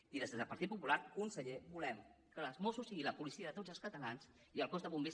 i des del partit popular conseller volem que els mossos siguin la policia de tots els catalans i el cos de bombers